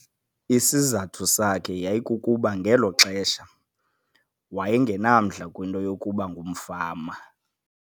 Isizathu sakhe yayikukuba ngelo xesha waye ngenamdla kwinto yokuba ngumfama.